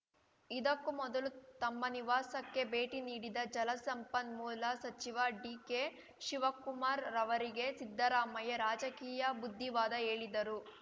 ಇದಕ್ಕೂ ಮೊದಲು ತಮ್ಮ ನಿವಾಸಕ್ಕೆ ಭೇಟಿ ನೀಡಿದ ಜಲಸಂಪನ್ಮೂಲ ಸಚಿವ ಡಿಕೆಶಿವಕುಮಾರ್‌ ರವರಿಗೆ ಸಿದ್ದರಾಮಯ್ಯ ರಾಜಕೀಯ ಬುದ್ಧಿವಾದ ಹೇಳಿದರು